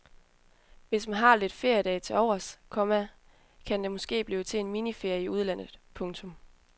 Hvis man har lidt feriedage til overs, komma kan det måske blive til en miniferie i udenlandet. punktum